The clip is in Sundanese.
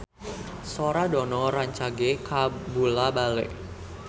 Sora Dono rancage kabula-bale